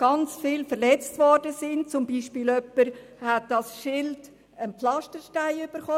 Einem Polizisten wurde ein Pflasterstein an den Schild geworfen.